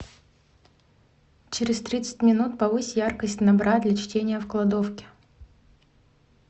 через тридцать минут повысь яркость на бра для чтения в кладовке